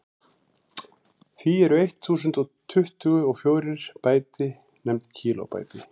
því eru eitt þúsund og tuttugu og fjórir bæti nefnd kílóbæti